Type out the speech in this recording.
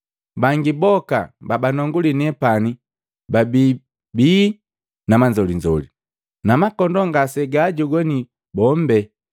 Bangi boka babanonguli nepani babi bii na manzolinzoli, na makondoo ngasegaajogwani boombe.